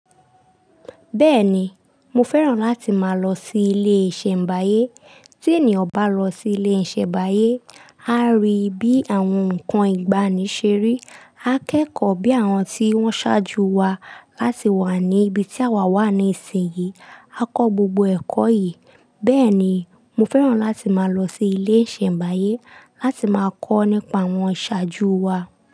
Bẹ́ẹ̀ni, mo fẹ́ràn láti máa lọ sí ilé 'ṣẹ̀mbáyé. Tí ènìyàn bá lọ sí ilé ìṣẹ̀mbáyé, á rí bí àwọn nǹkan ìgbàanì ṣe rí, a kẹ́kọ̀ọ́ bí àwọn tí wọ́n ṣáájú wa láti wà ní ibi tí àwa wà ní ìsìnyí, a kọ gbogbo ẹ̀kọ́ yìí. Bẹ́ẹ̀ni, mo fẹ́ràn láti máa lọ sí ilé ìṣẹ̀mbáyé láti máa kọ́ nípa àwọn iṣáájú wa.